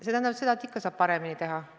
See tähendab, et ikka saab paremini teha.